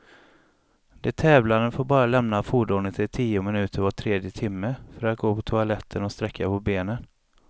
De tävlande får bara lämna fordonet i tio minuter var tredje timme, för att gå på toaletten och sträcka på benen.